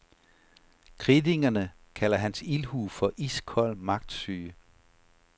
Kritikerne kalder hans ildhu for iskold magtsyge.